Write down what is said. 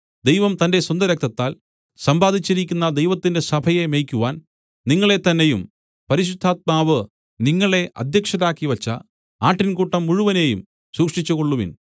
ദൈവം തന്റെ സ്വന്തരക്തത്താൽ സമ്പാദിച്ചിരിക്കുന്ന ദൈവത്തിന്റെ സഭയെ മേയ്ക്കുവാൻ നിങ്ങളെത്തന്നെയും പരിശുദ്ധാത്മാവ് നിങ്ങളെ അദ്ധ്യക്ഷരാക്കിവച്ച ആട്ടിൻകൂട്ടം മുഴുവനെയും സൂക്ഷിച്ചുകൊള്ളുവിൻ